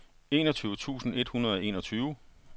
enogtyve tusind et hundrede og enogtyve